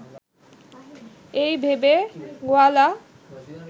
এই ভেবে গোয়ালা